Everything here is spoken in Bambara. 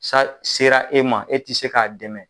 Sa sera e ma? e te se ka dɛmɛ.